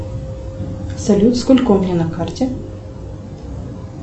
салют сколько у меня на карте